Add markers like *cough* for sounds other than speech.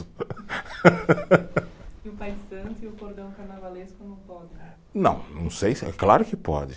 *laughs* E o pai de santo e o cordão carnavalesco não podem? Não, não sei, claro que pode.